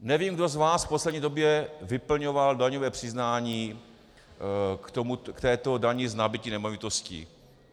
Nevím, kdo z vás v poslední době vyplňoval daňové přiznání k této dani z nabytí nemovitostí.